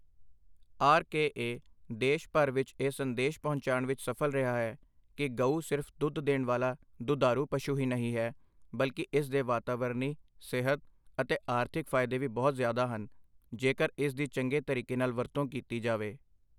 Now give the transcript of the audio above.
R K A ਦੇਸ਼ ਭਰ ਵਿਚ ਇਹ ਸੰਦੇਸ਼ ਪਹੁੰਚਾਉਣ ਵਿਚ ਸਫ਼ਲ ਰਿਹਾ ਹੈ ਕਿ ਗਊ ਸਿਰਫ਼ ਦੁੱਧ ਦੇਣ ਵਾਲਾ ਦੁਧਾਰੂ ਪਸ਼ੂ ਹੀ ਨਹੀਂ ਹੈ, ਬਲਕਿ ਇਸ ਦੇ ਵਾਤਾਵਰਨੀ, ਸਿਹਤ ਅਤੇ ਆਰਥਿਕ ਫਾਇਦੇ ਵੀ ਬਹੁਤ ਜ਼ਿਆਦਾ ਹਨ, ਜੇਕਰ ਇਸ ਦੀ ਚੰਗੇ ਤਰੀਕੇ ਨਾਲ ਵਰਤੋਂ ਕੀਤੀ ਜਾਵੇ।